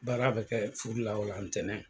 Baara bɛ kɛ furu la o la ntɛnɛn.